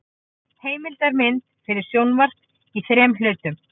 Heimildamynd fyrir sjónvarp í þrem hlutum.